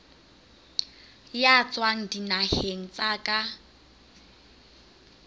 ya tswang dinaheng tsa ka